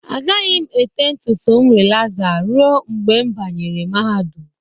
Agaghị m ete ntutu m rilaza ruo mgbe m banyere mahadum